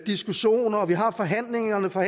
diskussioner og vi har forhandlerne fra